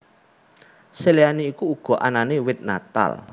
Seliyane iku uga anane wit Natal